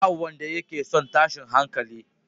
Ba wanda yake son tashin hankali.